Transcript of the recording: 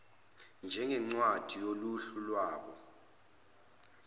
njengencwadi yohlu lwalabo